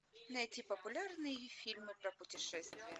найти популярные фильмы про путешествия